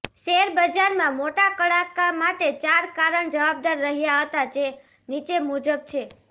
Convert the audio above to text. શેરબજારમાં મોટા કડાકા માટે ચાર કારણ જવાબદાર રહ્યા હતા જે નીચે મુજબ છે